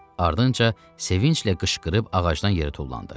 Ardınca sevinclə qışqırıb ağacdan yerə tullandı.